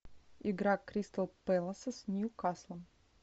игра кристал пэласа с ньюкаслом